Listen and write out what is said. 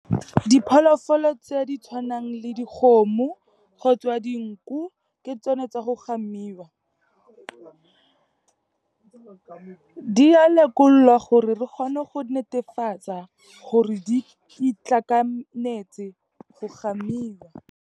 Dipholofolo tse di tshwanang le dikgomo kgotsa dinku ke tsone tsa go gamiwa. Di a lekolwa gore re kgone go netefatsa gore di itlhakanetse go gamiwa.